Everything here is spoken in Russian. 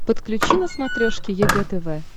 подключи на смотрешке егэ тв